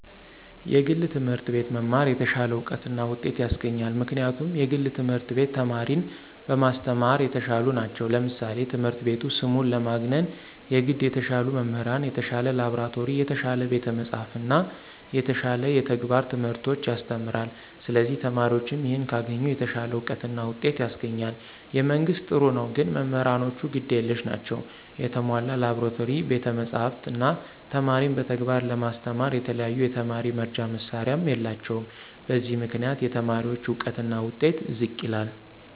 የግል ትምህርት አቤት መማር የተሻለ እውቀት እና ውጤት ያሰገኛል ምክንያቱም የግል ትምህርት ቤት ተማሪን በማሰተማራ የተሻሉ ነቸው ለምሳሌ ትምህረት ቤቱ ስሙን ለማግነነ የገድ የተሻሉ መምህራን፣ የተሻለ ላብራቶሪ፣ የተሻለ ቤተ መፅሐፍት እና የተሻለ የተግባረ ትምህርቶች ያሰተምራለ ስለዚህ ተማሪዎችም ይህን ካገኙ የተሻለ አውቀት እና ውጤት ያስገኛል። የመንግስት ጥሩ ነው ግን መምህራኖቹ ግድ የለሽ ናቸው የተሞላ ላብራቶሪ፣ ቤተ መፅሐፍ፣ እነ ተማሪን በተግባር ለማስተማራ የተለያዩ የተማሪ መርጃ መሳሪያዎች የላቸውም በዚህ ምክንያት የተማሪዎች እውቀትና ውጤት ዝቅ ይላል።